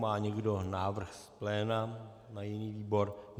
Má někdo návrh z pléna na jiný výbor?